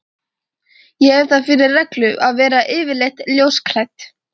Ég hef það fyrir reglu að vera yfirleitt ljósklædd.